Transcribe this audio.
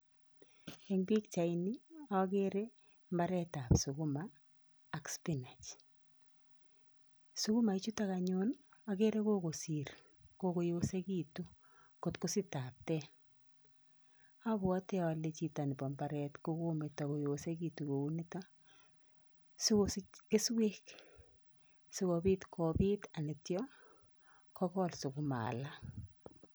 Eng' pikchaini akere mbaretap sukuma ak spinach. Sukuma chutok anyun akere kokosiir, kokoyosekitu kot kosich tapteet. Abwati ale chito nebo mbaret ko kometo koyosekitu kou nitok , sikosich keswek, sikobiit kopiit alityo kokol sukuma alak